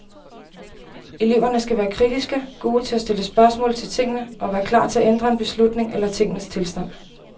Eleverne skal være kritiske, gode til at stille spørgsmål til tingene, og være klar til at ændre en beslutning eller tingenes tilstand.